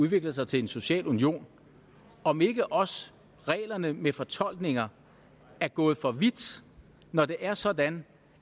udvikler sig til en social union om ikke også reglerne med fortolkninger er gået for vidt når det er sådan